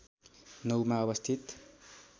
९ मा अवस्थित